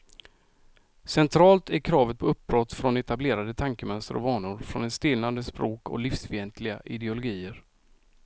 Centralt är kravet på uppbrott från etablerade tankemönster och vanor, från ett stelnande språk och livsfientliga ideologier.